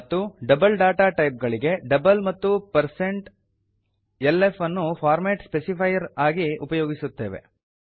ಮತ್ತು double data type ಗಳಿಗೆ double ಮತ್ತು160lf ಅನ್ನು ಫಾರ್ಮಾಟ್ ಸ್ಪೆಸಿಫೈರ್ ಆಗಿ ಉಪಯೊಗಿಸುತ್ತೇವೆ